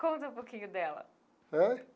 Conta um pouquinho dela.